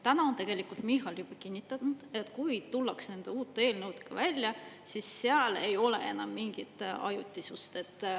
Täna on tegelikult Michal juba kinnitanud, et kui tullakse nende uute eelnõude välja, siis seal ei ole enam mingit ajutisust.